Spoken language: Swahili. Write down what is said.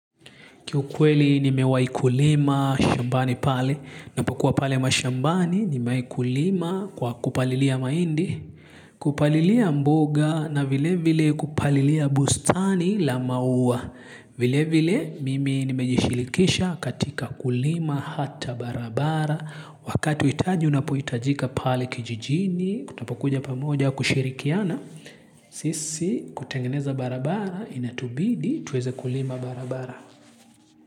Ki ukweli nimewahi kulima shambani pale, napokuwa pale mashambani, nimewahi kulima kwa kupalilia mahindi, kupalilia mboga na vile vile kupalilia bustani la maua. Vile vile mimi nimejishirikisha katika kulima hata barabara, wakati huitaji unapohitajika pale kijijini, tutakapokuja pamoja kushirikiana, sisi kutengeneza barabara, inatubidi, tuweze kulima barabara.